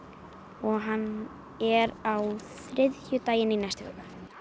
og hann er á þriðjudaginn í næstu viku